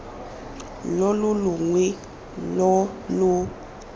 lo lo longwe lo lo